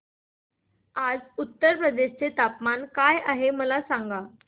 आज उत्तर प्रदेश चे तापमान काय आहे मला सांगा